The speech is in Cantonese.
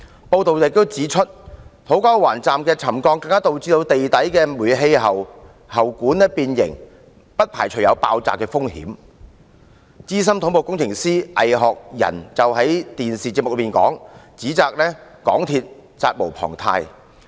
報道亦指出，土瓜灣站的沉降更導致地底的煤氣喉管變形，不排除有爆炸的風險。資深土木工程師倪學仁曾在電台節目上，指責港鐵公司責無旁貸。